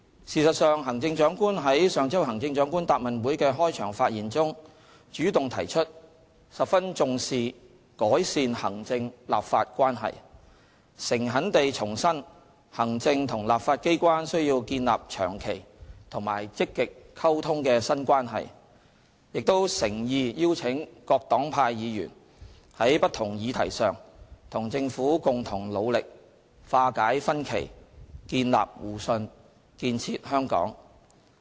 事實上，行政長官於上周行政長官答問會的開場發言中，主動提出十分重視改善行政立法關係；誠懇地重申行政和立法機關需要建立長期和積極溝通的新關係；亦誠意邀請各黨派議員，在不同議題上與政府共同努力化解分歧，建立互信，建設香港。